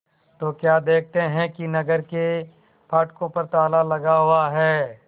तो क्या देखते हैं कि नगर के फाटकों पर ताला लगा हुआ है